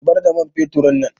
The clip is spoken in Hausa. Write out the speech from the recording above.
Zubar da man feturin nan